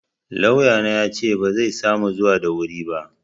Lauyana yace bazai samu zuwa da wuri ba.